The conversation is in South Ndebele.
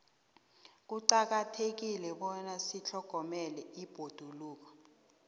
kuqakathekile bona sitlhogomele ibhoduluko